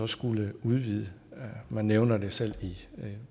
skulle udvide man nævner selv i